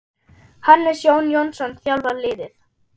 Hannes Jón Jónsson þjálfar liðið.